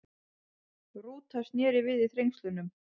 Rúta snéri við í Þrengslum